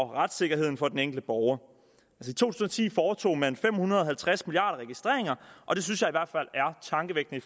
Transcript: retssikkerheden for den enkelte borger i to tusind og ti foretog man fem hundrede og halvtreds milliarder registreringer og det synes jeg i hvert fald er tankevækkende